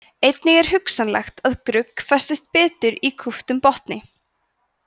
einnig er hugsanlegt að grugg festist betur í kúptum botni